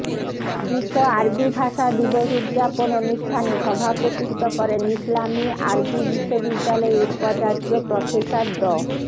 বিশ্ব আরবি ভাষা দিবস উদযাপন অনুষ্ঠানে সভাপতিত্ব করেন ইসলামি আরবি বিশ্ববিদ্যালয়ের উপাচার্য প্রফেসর ড